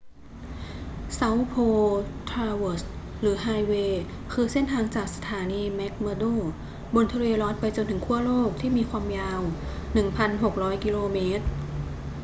south pole traverse หรือ highway คือเส้นทางจากสถานี mcmurdo บนทะเลรอสส์ไปจนถึงขั้วโลกที่มีความยาว 1600 กิโลเมตร